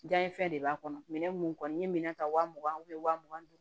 Dan ye fɛn de b'a kɔnɔ minɛn mun kɔni ye minɛ ta wa mugan wa mugan ni duuru